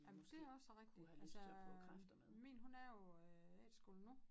Ej men det også rigtig altså min hun er jo øh efterskole nu